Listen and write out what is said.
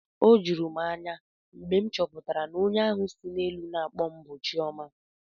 O juru m anya mgbe m chọpụtara na onye ahụ si n'elu akpọ m bụ Chioma